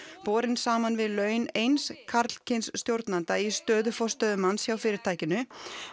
borin saman við laun eins karlkyns stjórnanda í stöðu forstöðumanns hjá fyrirtækinu